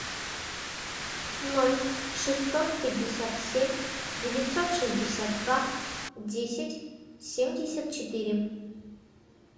ноль шестьсот пятьдесят семь девятьсот шестьдесят два десять семьдесят четыре